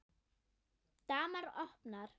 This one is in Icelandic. Dama opnar.